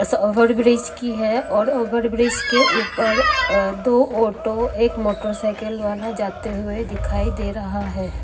की है और ओवरब्रिज के ऊपर अ दो ऑटो एक मोटरसाइकल वाला जाते हुए दिखाई दे रहा है।